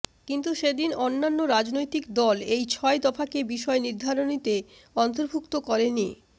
কিন্তু সেদিন অন্যান্য রাজনৈতিক দল এই ছয় দফাকে বিষয় নির্ধারণীতে অন্তর্ভুক্ত করেনি